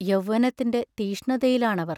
യൗവനത്തിന്റെ തീക്ഷ്ണതയിലാണവർ.